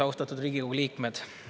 Austatud Riigikogu liikmed!